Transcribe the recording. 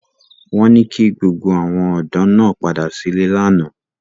Wọ́n ní kí gbogbo àwọn ọ̀dọ́ náà padà sílé lánàá